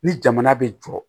Ni jamana bɛ jɔ